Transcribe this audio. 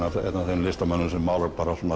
einn af þeim listamönnum sem málar bara